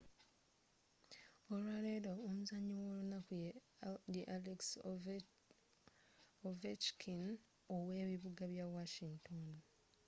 olwaleero omuzanyi w'olunaku ye alex ovechkin ow'ebibuga bya washington